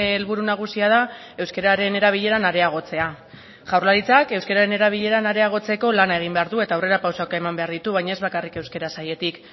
helburu nagusia da euskararen erabileran areagotzea jaurlaritzak euskararen erabileran areagotzeko lan egin behar du eta aurrerapausoak eman behar ditu baina ez bakarrik euskara sailetik